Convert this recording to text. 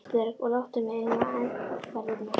Ísbjörg og láttu mig um aðferðirnar.